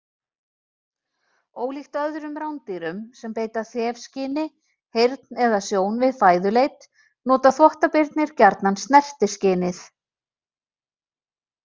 Ólíkt öðrum rándýrum sem beita þefskyni, heyrn eða sjón við fæðuleit, nota þvottabirnir gjarnan snertiskynið.